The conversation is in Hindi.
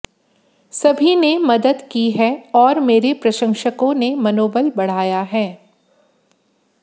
सभी ने मदद की है और मेरे प्रशंसकों ने मनोबल बढ़ाया है